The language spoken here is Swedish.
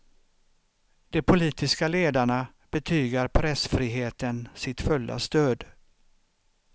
De politiska ledarna betygar pressfriheten sitt fulla stöd.